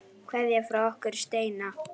Kveðja frá okkur Steina.